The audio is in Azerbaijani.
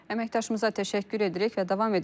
Əməkdaşımıza təşəkkür edirik və davam edirik.